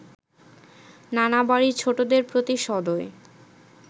নানা বাড়ির ছোটদের প্রতি সদয়